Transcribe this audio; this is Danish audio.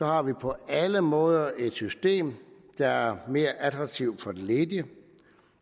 har vi på alle måder et system der er mere attraktivt for de ledige